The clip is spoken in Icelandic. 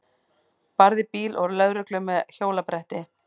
Barði bíl og lögreglu með hjólabretti